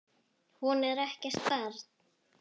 Hún er ekkert barn.